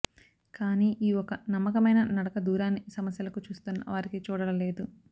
కానీ ఈ ఒక నమ్మకమైన నడకదూరాన్ని సమస్యలకు చూస్తున్న వారికి చూడలేదు